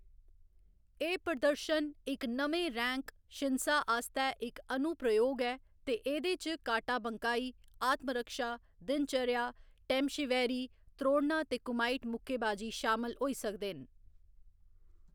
एह्‌‌ प्रदर्शन इक नमें रैंक, शिन्सा आस्तै इक अनुप्रयोग ऐ ते एह्‌‌‌दे च काटा बंकाई, आत्मरक्षा, दिनचर्या, टेमशिवैरी, त्रोड़ना ते कुमाइट मुक्केबाजी शामल होई सकदे न।